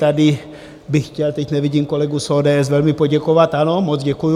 Tady bych chtěl, teď nevidím kolegu z ODS, velmi poděkovat, ano, moc děkuju.